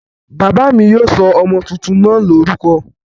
Bàbá mi yóò sọ ọmọ tuntun náà lórúkọ